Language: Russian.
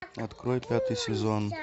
открой пятый сезон